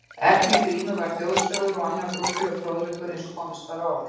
Efni Grímu var þjóðsögur og annar þjóðlegur fróðleikur eins og komist var að orði.